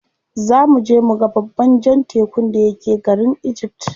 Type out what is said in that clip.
Za muje muga babban jan tekun da yake garin egypt.